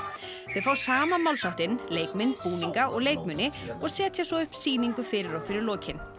þau fá sama málsháttinn leikmynd búninga og leikmuni og setja svo upp sýningu fyrir okkur í lokin